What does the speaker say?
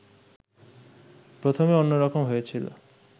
প্রথমে অন্য রকম হয়েছিল